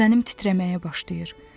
Bədənim titrəməyə başlayır.